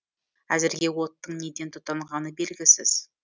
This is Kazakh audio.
әзірге оттың неден тұтанғаны белгісіз